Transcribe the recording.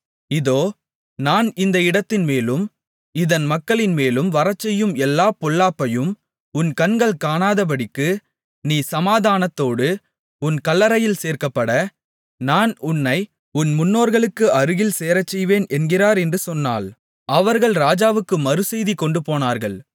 இதோ நான் இந்த இடத்தின்மேலும் இதன் மக்களின்மேலும் வரச்செய்யும் எல்லாப் பொல்லாப்பையும் உன் கண்கள் காணாதபடிக்கு நீ சமாதானத்தோடு உன் கல்லறையில் சேர்க்கப்பட நான் உன்னை உன் முன்னோர்களுக்கு அருகில் சேரச்செய்வேன் என்கிறார் என்று சொன்னாள் அவர்கள் ராஜாவுக்கு மறுசெய்தி கொண்டுபோனார்கள்